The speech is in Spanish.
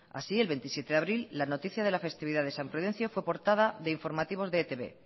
así el veintisiete de abril la noticia de la festividad de san prudencio fue portada de informativos de e i te be